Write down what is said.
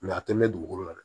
a tɛ mɛn dugukolo la dɛ